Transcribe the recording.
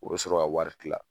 O be sɔrɔ ka wari kila